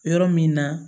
Yɔrɔ min na